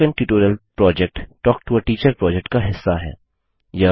spoken tutorial project talk to a teacher project का हिस्सा है